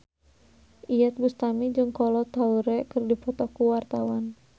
Iyeth Bustami jeung Kolo Taure keur dipoto ku wartawan